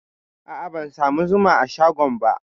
A'a, ban samu zuma a shagon ba.